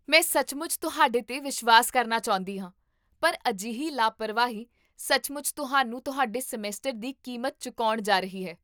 ਮੈਂ ਸੱਚਮੁੱਚ ਤੁਹਾਡੇ 'ਤੇ ਵਿਸ਼ਵਾਸ ਕਰਨਾ ਚਾਹੁੰਦੀ ਹਾਂ, ਪਰ ਅਜਿਹੀ ਲਾਪਰਵਾਹੀ ਸੱਚਮੁੱਚ ਤੁਹਾਨੂੰ ਤੁਹਾਡੇ ਸਮੈਸਟਰ ਦੀ ਕੀਮਤ ਚੁਕਾਉਣ ਜਾ ਰਹੀ ਹੈ